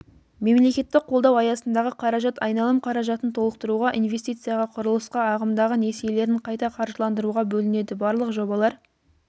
мемлекеттік қолдау аясындағы қаражат айналым қаражатын толықтыруға инвестицияға құрылысқа ағымдағы несиелерін қайта қаржыландыруға бөлінеді барлық жобалар